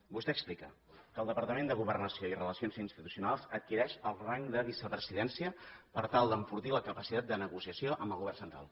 vostè explica que el departament de governació i relacions institucionals adquireix el rang de vicepresidència per tal d’enfortir la capacitat de negociació amb el govern central